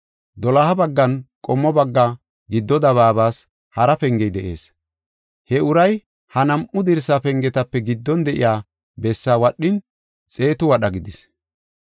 Doloha baggan, qommo bagga giddo dabaabas hara pengey de7ees. He uray ha nam7u dirsa pengetape giddon de7iya bessaa wadhin, xeetu wadha gidis.